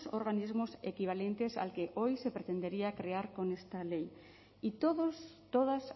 organismos equivalentes al que hoy se pretendería crear con esta ley y todos todas